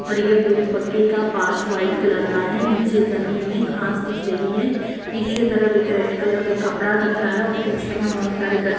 और ये पुरे पक्के का पांच वाइट कलर का है नीचे जमीन में घास दिख रही है पीछे तरफ एक रेड कलर का कपडा दिख रहा है और पीछे में बहुत सारे गछ--